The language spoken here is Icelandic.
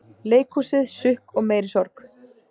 Leikhúsið, sukk og meiri sorg